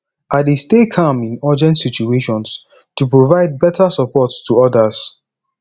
i dey stay calm in urgent situations to provide beta support to others